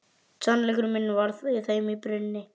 Sannleikur minn var í þeim brunni.